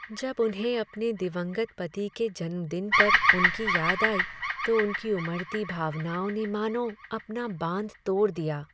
जब उन्हें अपने दिवंगत पति के जन्मदिन पर उनकी याद आई तो उनमें उमड़ती भावनाओं ने मानो अपना बांध तोड़ दिया।